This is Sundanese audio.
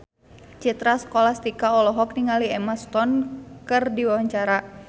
Citra Scholastika olohok ningali Emma Stone keur diwawancara